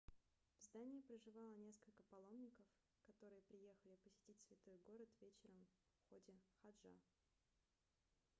в здание проживало несколько паломников которые приехали посетить святой город вечером в ходе хаджа